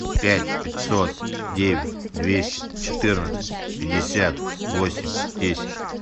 пять пятьсот девять двести четырнадцать пятьдесят восемь десять